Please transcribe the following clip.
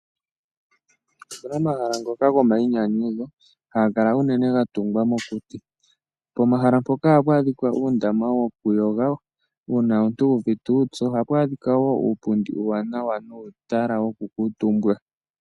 Opuna omahala ngoka gomainyanyudho haga kala unene ga tungwa mokuti. Pomahala mpoka ohapu adhika uundama wokuyoga uuna omuntu wu uvite uupyu. Ohapu adhika wo uupundi uuwanawa nuutala woku kuutumba.